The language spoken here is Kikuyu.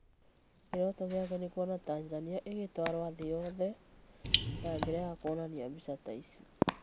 Kĩroto gĩake nĩ kuona Tanzania ĩgĩtwarwo thĩ yothe na njĩra ya kwonania mbica ta icio.